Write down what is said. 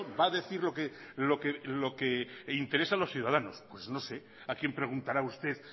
va a decir lo que le interesa a los ciudadanos pues no sé a quién preguntará usted